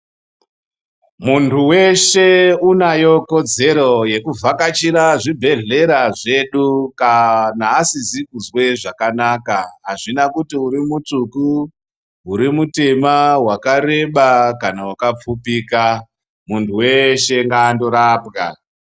Munhu weshe unayo kodzero yekuvhakachira zvibhedhlera zvedu kana asikazwi zvakanaka azvina kuti urimutsvuku urimutema wakareba kana wakapfupika muntu weshe ngaangorapwa .